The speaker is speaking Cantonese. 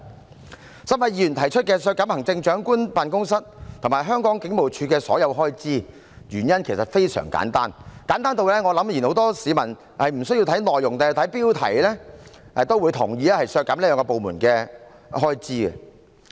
該3位議員提出削減特首辦及香港警務處的所有開支，原因其實非常簡單，簡單至我想很多市民無需看內容，只看標題也會同意要削減這兩個部門的開支。